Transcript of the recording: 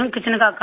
kitchen का काम